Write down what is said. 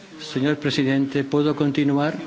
Señor presidente, ¿puedo continuar?